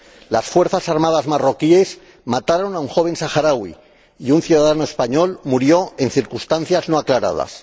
Las fuerzas armadas marroquíes mataron a un joven saharaui y un ciudadano español murió en circunstancias no aclaradas.